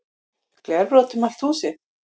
Glerbrot um allt húsið